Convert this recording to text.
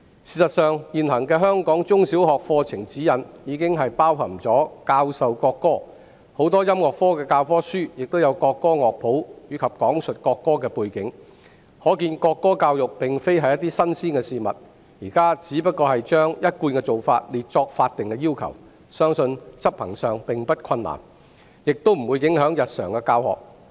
事實上，現行的香港中小學課程指引已經包含教授國歌，很多音樂科教科書亦有國歌樂譜，以及講述國歌的背景，可見國歌教育並非新鮮事物，現時只是將一貫做法列作法定要求，相信在執行上並不困難，亦不會影響日常的教學。